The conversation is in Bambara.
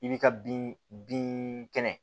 I bi ka bin bin kɛnɛ